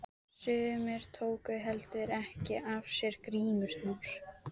Sumir tóku heldur ekki af sér grímurnar.